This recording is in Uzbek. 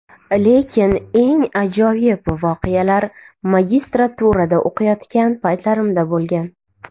Lekin eng ajoyib voqealar magistraturada o‘qiyotgan paytlarimda bo‘lgan.